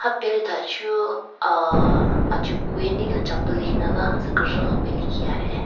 Pelithachu ahhh achukwe nile chapple lekhinala tsu he.